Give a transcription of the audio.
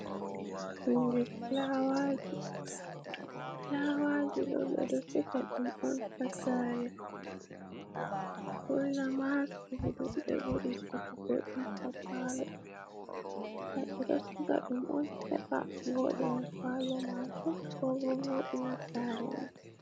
Hunde filawaji ɗo be ɗo siga dum on hasare ɓurnama ha sudu ɓe ɓuri sugugo ɗum ha palo ɓeɗo siga ɗum on heɓa voɗina palomajo ko bo voɗina sare ma